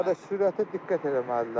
Qardaş, sürətə diqqət eləməlidirlər.